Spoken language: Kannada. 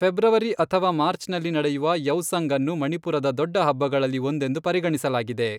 ಫೆಬ್ರವರಿ ಅಥವಾ ಮಾರ್ಚ್ನಲ್ಲಿ ನಡೆಯುವ ಯೌಸಂಗ್ ಅನ್ನು ಮಣಿಪುರದ ದೊಡ್ಡ ಹಬ್ಬಗಳಲ್ಲಿ ಒಂದೆಂದು ಪರಿಗಣಿಸಲಾಗಿದೆ.